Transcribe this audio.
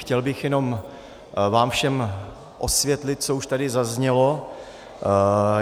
Chtěl bych jen vám všem osvětlit, co už tady zaznělo.